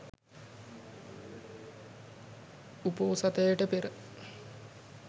උපෝසථයට පෙර